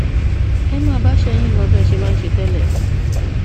ẹ máa bá iṣẹ yín lọ bí ẹ ṣe máa ń ṣe tẹlẹ